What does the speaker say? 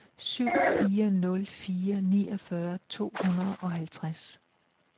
syv fire nul fire niogfyrre to hundrede og halvtreds